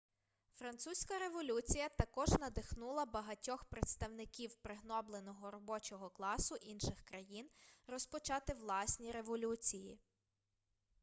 французька революція також надихнула багатьох представників пригнобленого робочого класу інших країн розпочати власні революції